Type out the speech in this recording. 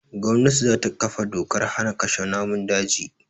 Gwannati za ta ƙafa dokar hana kashe namun daji